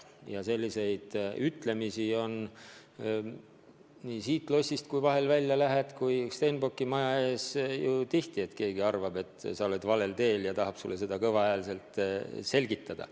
Ja selliseid ütlemisi kuuleb ju nii siit lossist välja läinuna kui ka Stenbocki maja ees tihti, et keegi arvab, et sa oled valel teel, ja tahab sulle seda kõva häälega selgitada.